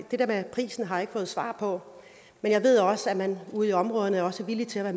der med prisen har jeg ikke fået svar på men jeg ved også at man ude i områderne er villige til at